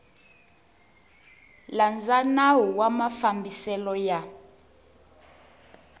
landza nawu wa mafambiselo ya